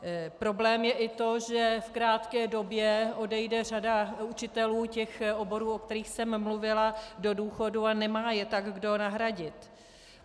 Problém je i to, že v krátké době odejde řada učitelů těch oborů, o kterých jsem mluvila, do důchodu, a nemá je tak kdo nahradit.